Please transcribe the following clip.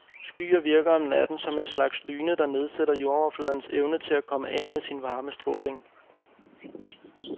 Skyer virker om natten som en slags dyne, der nedsætter jordoverfladens evne til at komme af med sin varmestråling.